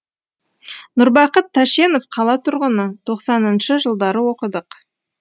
нұрбақыт тәшенов қала тұрғыны тоқсаныншы жылдары оқыдық